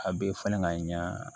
A bɛ falen ka ɲa